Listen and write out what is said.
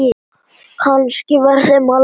Kannski var þeim alvara.